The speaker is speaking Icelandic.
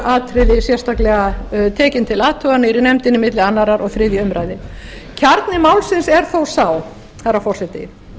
atriði tekin til athugunar í nefndinni milli annars og þriðju umræðu kjarni málsins er þó sá herra forseti